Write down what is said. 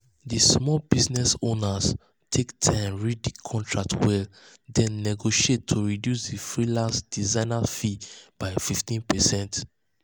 the small business owner take time read the contract well then negotiate to reduce the freelance designer fee by 15%.